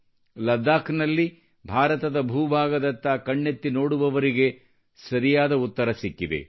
ಲಡಾಖ್ನಲ್ಲಿ ಭಾರತದ ಭೂಭಾಗದತ್ತ ಕಣ್ಣೆತ್ತಿ ನೋಡುವವರಿಗೆ ಸರಿಯಾದ ಉತ್ತರ ಸಿಕ್ಕಿದೆ